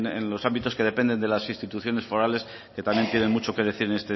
en los ámbitos que dependen de las instituciones forales que también tienen mucho que decir en